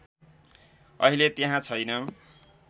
अहिले त्यहाँ छैन